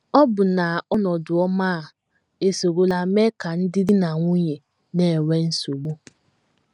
Ọbụna ọnọdụ ọma a esorola mee ka ndị di na nwunye na - enwe nsogbu.